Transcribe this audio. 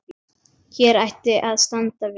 Hér ætti að standa viss.